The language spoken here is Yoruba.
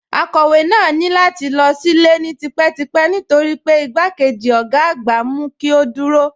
Akọ̀wé náà ní láti lọ sílé ni típetípẹ́ nítorí pé igbákejì ọ̀gá àgbà mú kí ó dúró